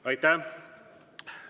Aitäh!